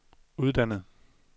uddannet